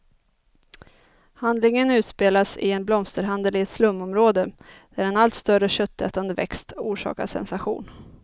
Handlingen utspelas i en blomsterhandel i ett slumområde, där en allt större köttätande växt orsakar sensation.